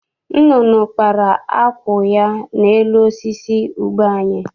Nnụnụ kpara akwụ ya n'elu osisi ube anyị.